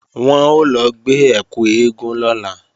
Wọn ó lọ gbé ẹkù eégún lọ́la